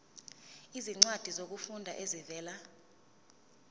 izincwadi zokufunda ezivela